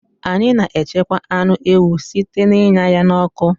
Anyị na-echekwa anụ ewu site n'ịnya ya n'ọkụ